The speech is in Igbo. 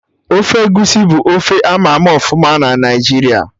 Ofe egusi bụ ofe ama ama ọfụma na Naijiria